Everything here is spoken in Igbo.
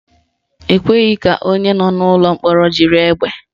Ekwesịghị ka onye nọ n'ụlọ mkpọrọ jiri egbe